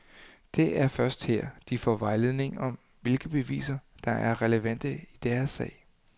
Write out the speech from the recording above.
Det er først her, de får vejledning om, hvilke beviser, der er relevante i deres sag.